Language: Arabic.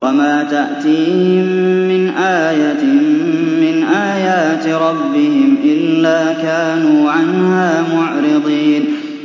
وَمَا تَأْتِيهِم مِّنْ آيَةٍ مِّنْ آيَاتِ رَبِّهِمْ إِلَّا كَانُوا عَنْهَا مُعْرِضِينَ